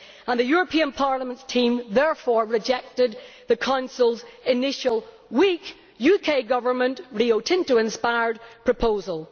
The European Parliament's team therefore rejected the Council's initial weak, UK Government Rio Tinto inspired proposal.